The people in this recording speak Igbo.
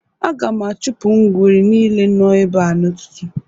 Aga m achụpụ ngwere nile nọ ebea n'ụtụtụ